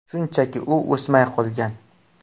Shunchaki u o‘smay qolgan.